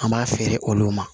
An b'a feere olu ma